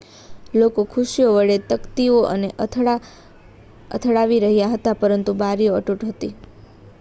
લોકો ખુરશીઓ વડે તકતીઓ ને અથડાવી રહ્યા હતા પરંતુ બારીઓ અતૂટ હતી